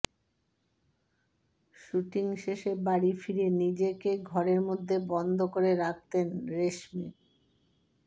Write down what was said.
shooting শেষে বাড়ি ফিরে নিজেকে ঘরের মধ্যে বন্ধ করে রাখতেন রেশমি